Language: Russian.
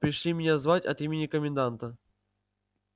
пришли меня звать от имени коменданта